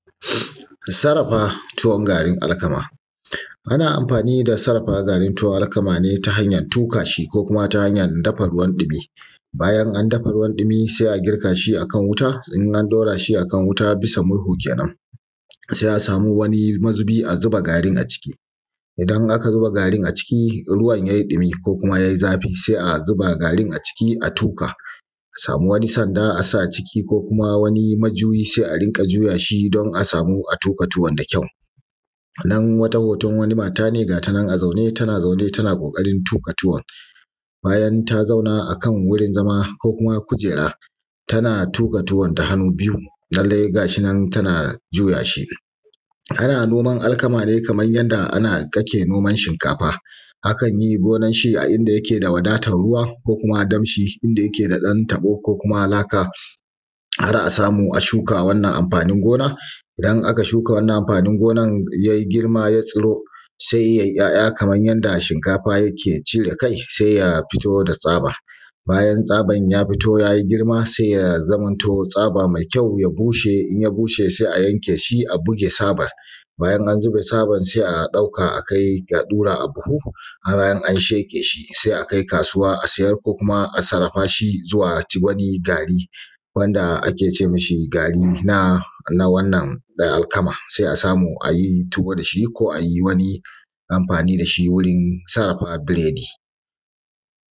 Sarafa tuwon garin alkama. Ana amfani da sarrafa garin tuwon alkama ne ya hanya tuƙa shi, ko kuma ta hanya dafa ruwan ɗumi. Bayan an dafa ruwan ɗumi sai a girka shi a kan wuta, in an ɗaura shi a kan wuta bisa murhu kenan, sai a samu wani mazubi a zuba garin a ciki, idan aka zuba garin a ciki, ruwan yayi ɗumi ko kuma ya yi zafi, sai a zuba garin a ciki, sai a tuƙa a samu wani sanda a sa a ciki, ko kuma wani majuyi sai a runƙa juya shi don a samu a tuƙa tuwon da kyau. Nan wata hoton wata mata ne gata nan a zaune tana zaune tana ƙoƙarin tuƙa tuwon bayan ta zauna akan wurin zama ko kuma kujera tana tuƙa tuwon da hannu biyu, lalle gashi nan tana juya shi. Ana noman alkama ne kamar yanda ake noman shinkafa, akan yi gonan shi a inda yake da wadatan ruwa ko kuma danshi, inda yake da ɗan taɓo ko kuma laka har a samu a shuka wannan amfanin gona, idan aka shuka wannan amfanin gona ya girma ya tsiro sai yayi ‘ya’ya kamar yanda shinkafa yake cire kai sai ya fito da tsaba. Bayan tsaban ya fito yayi girma sai ya zamanto tsaba mai kyau ya bushe, in ya bushe sai a yanke shi a buge tsaban. Bayan an buge tsaban sai a ɗauka a ɗura a buhu har in an sheƙe shi sai akai kasuwa a siyar, ko kuma a sarrafa shi zuwa ci wani gari wanda ake ce mashi garin na wannan alkama, sai a samu a yi tuwo da shi ko a yi wani anfanin da shi wurin sarrafa biredi.